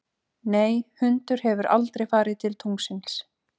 Nei, hundur hefur aldrei farið til tunglsins.